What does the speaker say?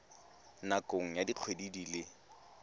nakong ya dikgwedi di le